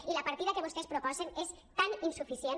i la partida que vostès proposen és tan insuficient